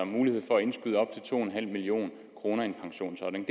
mulighed for at indskyde op til to million kroner i en pensionsordning